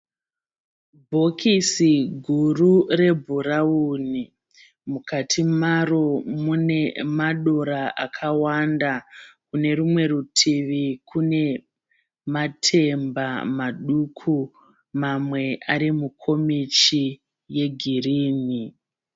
Bhokisi guru rebhurauni mukati maro mune madora akawanda kune rumwe rutivi kune matemba maduku mamwe ari mukomichi yegirini.